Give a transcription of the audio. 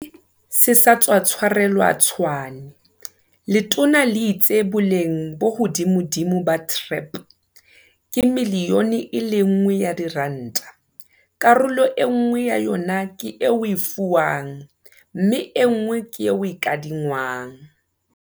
ZA se sa tswa tshwarelwa Tshwane, letona le itse boleng bo hodimodimo ba TREP ke miliyone e le nngwe ya diranta, karolo enngwe ya yona ke e o e fiwang mme enngwe ke e o e kadi ngwang.